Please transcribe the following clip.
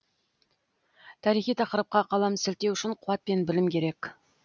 тарихи тақырыпқа қалам сілтеу үшін қуат пен білім керек